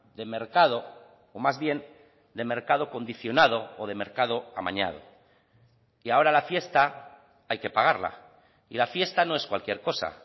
de mercado o más bien de mercado condicionado o de mercado amañado y ahora la fiesta hay que pagarla y la fiesta no es cualquier cosa